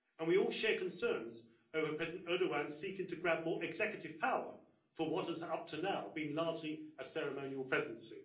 and we all share concerns over President Erdogan seeking to grab more executive power for what has, up to now, been largely a ceremonial presidency.